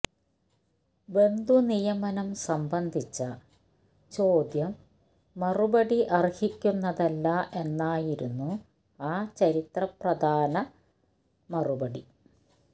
ബന്ധുനിയമനം സംബന്ധിച്ച ചോദ്യം മറുപടി അര്ഹിക്കുന്നതല്ല എന്നായിരുന്നു ആ ചരിത്രപ്രധാന മറുപടി